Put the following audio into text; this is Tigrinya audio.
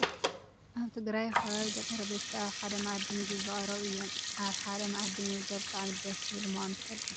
ኣብ ትግራይ ከባቢ ገጠረ ቤተሰብ ኣብ ሓደ ማኣዲ ምግቢ ዝቀረቡ እዮም። ኣብ ሓደ ማኣዲ ምምጋብ ብጣዕሚ ደስ ዝብል ምኳኑ ትፈልጡ ዶ?